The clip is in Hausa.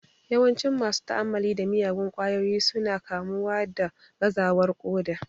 Yawancin masu ta'amalli da miyagun kwayoyi su na kamuwa da gazawar ƙoda